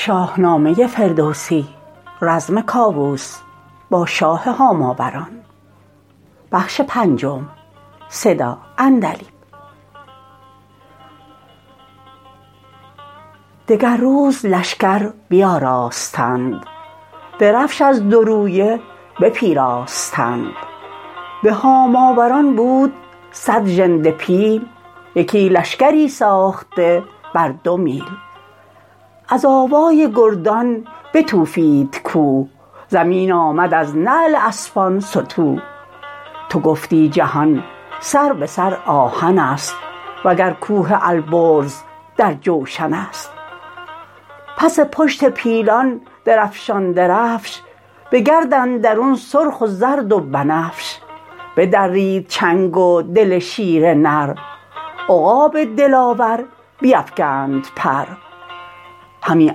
دگر روز لشکر بیاراستند درفش از دو رویه بپیراستند به هاماوران بود صد ژنده پیل یکی لشکری ساخته بر دو میل از آوای گردان بتوفید کوه زمین آمد از نعل اسپان ستوه تو گفتی جهان سر به سر آهن ست وگر کوه البرز در جوشن ست پس پشت پیلان درفشان درفش بگرد اندرون سرخ و زرد و بنفش بدرید چنگ و دل شیر نر عقاب دلاور بیفگند پر همی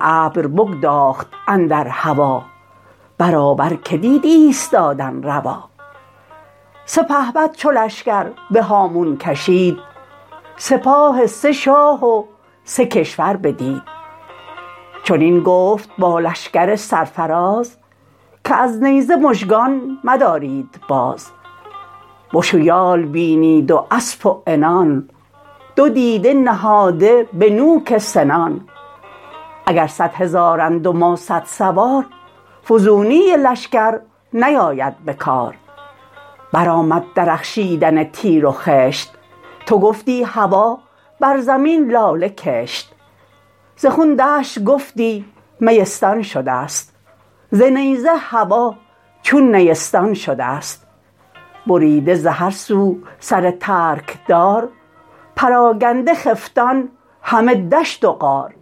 ابر بگداخت اندر هوا برابر که دید ایستادن روا سپهبد چو لشکر به هامون کشید سپاه سه شاه و سه کشور بدید چنین گفت با لشکر سرفراز که از نیزه مژگان مدارید باز بش و یال بینید و اسپ و عنان دو دیده نهاده به نوک سنان اگر صدهزارند و ما صدسوار فزونی لشکر نیاید به کار برآمد درخشیدن تیر و خشت تو گفتی هوا بر زمین لاله کشت ز خون دشت گفتی میستان شدست ز نیزه هوا چون نیستان شدست بریده ز هر سو سر ترک دار پراگنده خفتان همه دشت و غار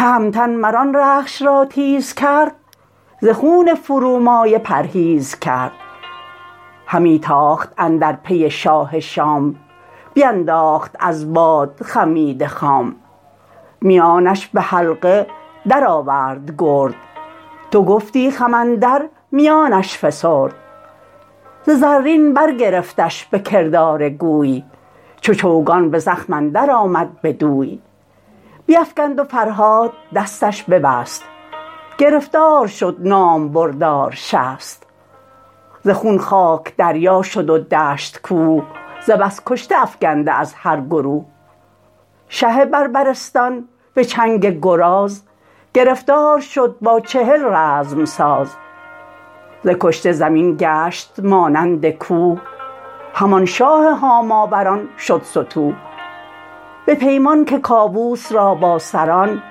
تهمتن مران رخش را تیز کرد ز خون فرومایه پرهیز کرد همی تاخت اندر پی شاه شام بینداخت از باد خمیده خام میانش به حلقه درآورد گرد تو گفتی خم اندر میانش فسرد ز زین برگرفتش به کردار گوی چو چوگان به زخم اندر آمد بدوی بیفگند و فرهاد دستش ببست گرفتار شد نامبردار شست ز خون خاک دریا شد و دشت کوه ز بس کشته افگنده از هر گروه شه بربرستان بچنگ گراز گرفتار شد با چهل رزم ساز ز کشته زمین گشت مانند کوه همان شاه هاماوران شد ستوه به پیمان که کاووس را با سران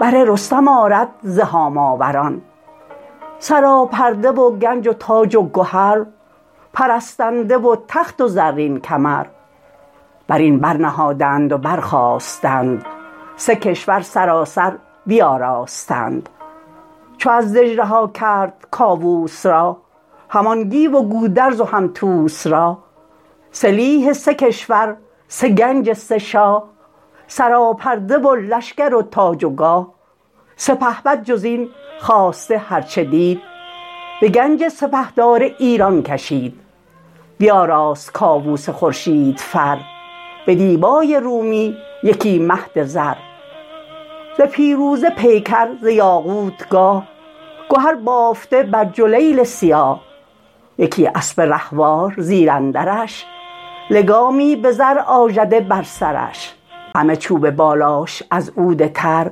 بر رستم آرد ز هاماوران سراپرده و گنج و تاج و گهر پرستنده و تخت و زرین کمر برین بر نهادند و برخاستند سه کشور سراسر بیاراستند چو از دژ رها کرد کاووس را همان گیو و گودرز و هم طوس را سلیح سه کشور سه گنج سه شاه سراپرده و لشکر و تاج و گاه سپهبد جزین خواسته هرچ دید بگنج سپهدار ایران کشید بیاراست کاووس خورشید فر بدیبای رومی یکی مهد زر ز پیروزه پیکر ز یاقوت گاه گهر بافته بر جلیل سیاه یکی اسپ رهوار زیراندرش لگامی به زر آژده بر سرش همه چوب بالاش از عود تر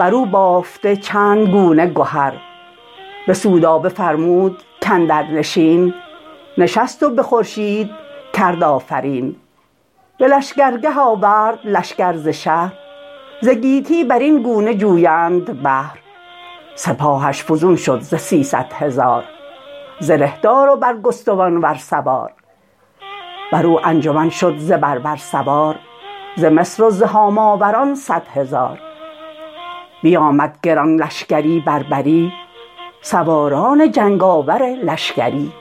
برو بافته چندگونه گهر بسودابه فرمود کاندر نشین نشست و به خورشید کرد آفرین به لشکرگه آورد لشکر ز شهر ز گیتی برین گونه جویند بهر سپاهش فزون شد ز سیصدهزار زره دار و برگستوانور سوار برو انجمن شد ز بربر سوار ز مصر و ز هاماوران صدهزار بیامد گران لشکری بربری سواران جنگ آور لشکری